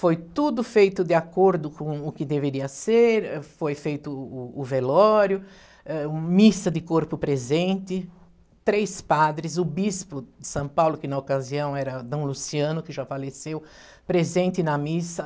Foi tudo feito de acordo com o que deveria ser, foi feito o o velório, eh, missa de corpo presente, três padres, o bispo de São Paulo, que na ocasião era Dom Luciano, que já faleceu, presente na missa.